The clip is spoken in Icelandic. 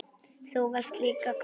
Þú varst líka góður kokkur.